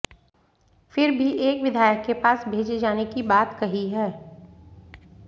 फिर भी एक विधायक के पास भेजे जाने की बात कही है